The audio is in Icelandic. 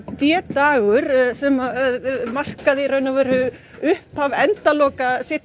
d dagur sem markar upphaf endaloka seinni